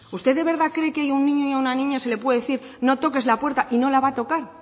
usted de verdad cree que hay un niño y una niña se le puede decir no toques la puerta y no la va a tocar